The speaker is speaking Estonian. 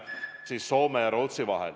Nii on ka Soome ja Rootsi vahel.